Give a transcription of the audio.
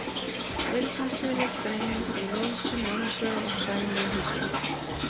Eyrnaselir greinast í loðseli annars vegar og sæljón hins vegar.